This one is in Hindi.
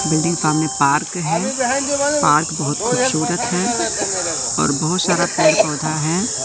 बिल्डिंग सामने पार्क है पार्क बहोत खूबसूरत है और बहोत सारा पेड़ पौधा है।